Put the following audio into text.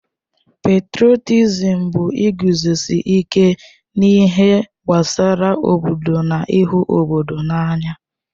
Petrọtịzịm bụ iguzosị ike n'ihe gbasara obodo na ịhụ obodo n'anya.